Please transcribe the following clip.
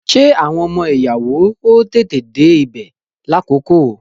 Ṣé àwọn ọmọ ìyàwó ó tètè dé ibè lákòókò?